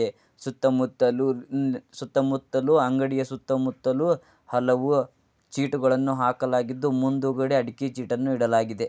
ಸುತ್ತಮುತ್ತಲು ಅಂಗಡಿಯ ಸುತ್ತಮುತ್ತಲು ಹಲೋ ಚೀಟಗಳನ್ನು ಹಾಕಲಾಗಿದ್ದು ಮುಂದುಗಡೆ ಅಡಿಕೆ ಚೀಟಿವನ್ನು ಇಡಲಾಗಿದೆ.